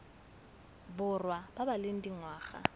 borwa ba ba leng dingwaga